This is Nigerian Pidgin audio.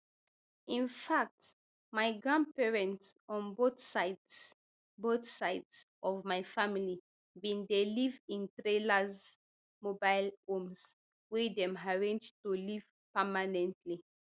in fact my grandparents on both sides both sides of my family bin dey live in trailers mobile homes wey dem arrange to live permanently